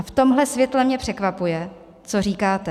A v tomhle světle mě překvapuje, co říkáte.